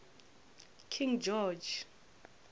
king george